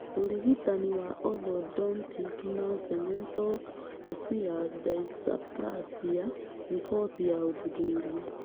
ũrigitani wa Orthodontic na cemento osseous dysplasia: riboti ya ũthuthuria